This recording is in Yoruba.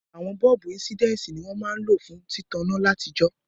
Àwon bọ́ọ̀bù insidensi ni won ma n lo fún títaná látijó